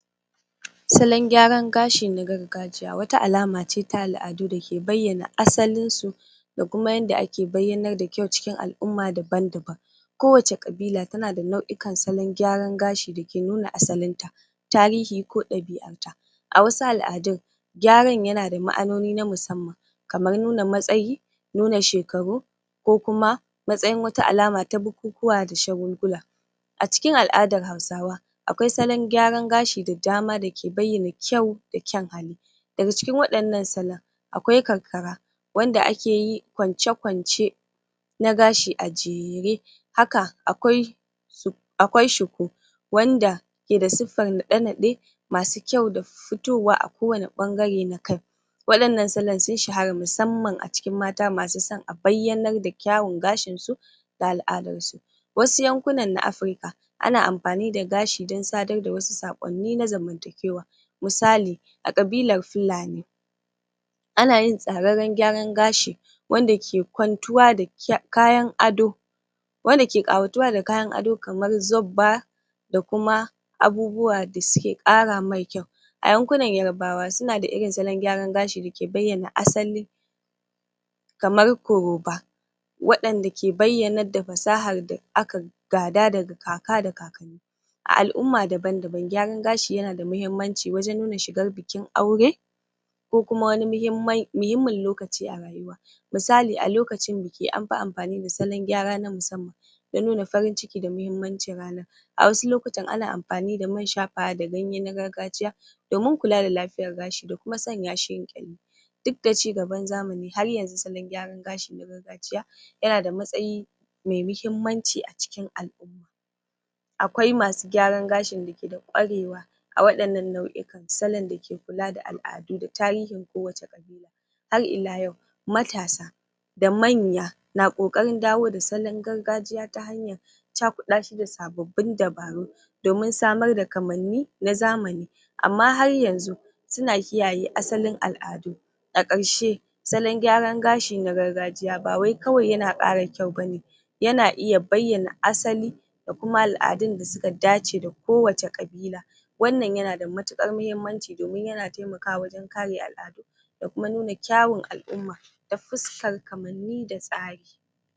Salon gyaran gashi na gargajiya wata alamace ta al'adu dake bayyana asalinsu da kuma yanda ake bayyanar da kyau chikin al’umma daban-daban Kowace kabila tana da nau'ikan salon gyaran gashi dake nuna asalinta, tarihi ko ɗabi'arta. A wasu al'adun gyaran yana da ma’anomi na musamman kamar nuna matsyi, nuna shakaru, ko kuma matsyin wata alama ta bukukuwa da shagulgula. A cikin al'adar hausawa akwai salon gyaran gashi da dama dake bayyan kyau da kyan hali. Daga cikin waɗannan salon, akwai karkara wanda akeyi kwance-kwace na gashi a jere haka akwai shiku wanda ke da siffan naɗe-naɗe masu kyau da fitowa a kowani ɓangare na kai. Waɗannan salon sun shahara musamman a cikin mata masu son a bayyanar da kyawun gashinsu da al'adansu. Wasu yankunan na Afirika ana anfani da gashi dan sadar da saƙonni na zamantakewa, misali a ƙabilar fulani ana yin tsararran gyaran gashi wanda ke kwantuwa da kayan ado wanda ke ƙawatuwa da kayan ado kamar zobba da kuma abubuwa da suke ƙara mai kyau. A yankunan yarbawa sunada irin salon gyaran gashin dake bayyana asali kamar kuroba waɗanda ke bayyanar da fasahar da aka gada daga kaka da kakanni A al'umma daban-daban gyaran gashi yanada mahimmanci wajan nuna shigar bikin aure ko kuma wani muhimman muhimmin lokaci a rayuwa. Misali a lokacin biki anfi amfani da salon gyara na musamman don nuna farin ciki da mahimmancin ranar. A wasu lokutan ana anfani man shafawa da ganye na gargajiya domin kula da lafiyar gashi da kuma sanyashi yayi ƙyalli. Dukda cigaban zamani har yanzu salon gyaran gashi na gargajiya, yana da matsayi mai mahimmanci a cikin al'umma. Akwai masu gyaran gashi dake da ƙwarewa a waɗannan nau'ikan salon da ke kula da al'adun da tarihin kowace ƙabila. Har ila yau, matasa da manya na ƙoƙarin dawo da salon gargajiya ta hanyar cakuɗashi da sabobbin dabaru domin samar da kamanni na zamani, Amman har yanzu suna kiyaye asalin al'adu. A karshe salon gyaran gashi na gargajiya ba wai kawai yana ƙara kyau ba ne, yana iya bayyana asali da kuma al'adun da suka dace da kowace ƙabila. Wannan yana da matuƙar muhimmanci domin yana taimakawa wajen kare al'adu da kuma nuna kyawun al'umma ta fuskar kamanni da tsari.